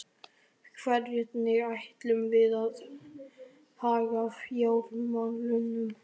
Hvernig ætlum við að haga fjármálunum?